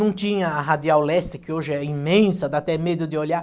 Não tinha a Radial Leste, que hoje é imensa, dá até medo de olhar.